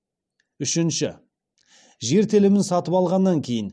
үшінші жер телімін сатып алғаннан кейін